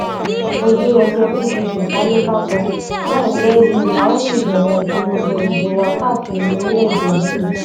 ojú ẹgbẹ pdp kalẹ kákò láìpẹ yìí la ó sì bẹrẹ ìpolongo ìbò wa káàkiri orílẹèdè yìí